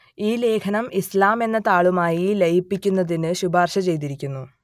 ഈ ലേഖനം ഇസ്ലാം എന്ന താളുമായി ലയിപ്പിക്കുന്നതിന് ശുപാർശ ചെയ്തിരിക്കുന്നു